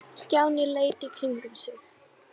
Stjáni leit í kringum sig.